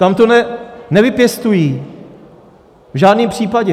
Tam to nevypěstují, v žádném případě!